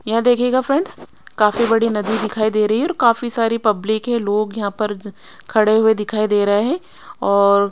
यह देखायेगा फ्रेंड्स काफी बड़ी नदी दिखाई दे रही है और काफी सारी पब्लिक है लोग यहां पर खड़े हुए दिखाई दे रहे हैं और--